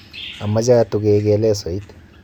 Ameche atukeke lesoit